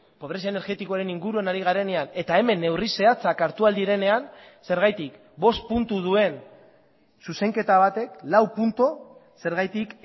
pobrezia energetikoaren inguruan ari garenean eta hemen neurri zehatzak hartu ahal direnean zergatik bost puntu duen zuzenketa batek lau puntu zergatik